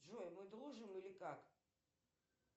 джой мы дружим или как